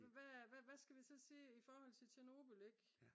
hvad skal vi så sige i forhold til Chernobyl ik